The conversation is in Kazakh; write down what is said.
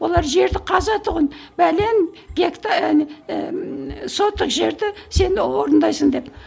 олар жерді қаза тұғын пәлен әне ііі соттық жерді сен орындайсың деп